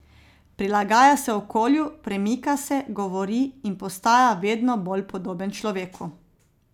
Prilagaja se okolju, premika se, govori in postaja vedno bolj podoben človeku.